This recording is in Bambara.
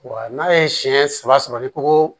Wa n'a ye siɲɛ saba sɔrɔ ni koko